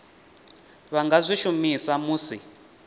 vha nga zwi shumisa musi